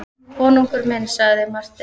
Konungur minn, sagði Marteinn.